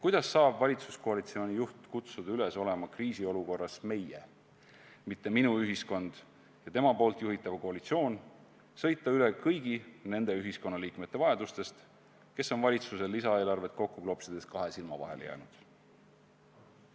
Kuidas saab valitsuskoalitsiooni juht kutsuda üles olema kriisiolukorras meie, mitte minu ühiskond, ja samas tema juhitav koalitsioon sõita üle kõigi nende ühiskonnaliikmete vajadustest, kes on valitsuse lisaeelarvet kokku klopsides kahe silma vahele jäänud?